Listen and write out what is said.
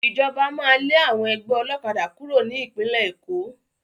Ìjọba máa lé àwọn ẹgbẹ́ ọlọ́kadà kúrò ní Ìpínlẹ̀ Èkó